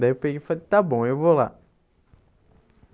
Daí eu peguei e falei, está bom, eu vou lá.